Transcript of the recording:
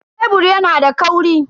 Kebur yana da kauri.